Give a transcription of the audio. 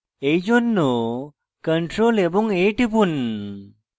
এইজন্য ctrl এবং a টিপুন